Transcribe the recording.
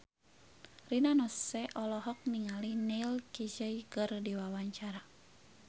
Rina Nose olohok ningali Neil Casey keur diwawancara